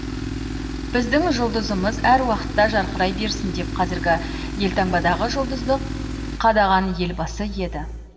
біздің жұлдызымыз әр уақытта жарқырай берсін деп қазіргі елтаңбадағы жұлдызды қадаған елбасы еді